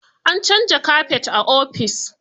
An canza kafet a ofis.